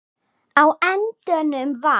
Á endanum var